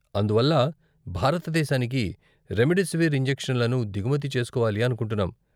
అందువల్ల, భారతదేశానికి రెమ్డెసివిర్ ఇంజెక్షన్లను దిగుమతి చేస్కోవాలి అనుకుంటున్నాం.